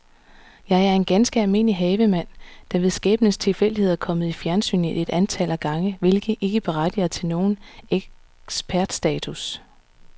Jeg er en ganske almindelig havemand, der ved skæbnens tilfældighed er kommet i fjernsynet et antal gange, hvilket ikke berettiger til nogen ekspertstatus.